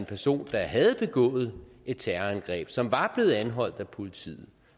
personer der havde begået et terrorangreb som var blevet anholdt af politiet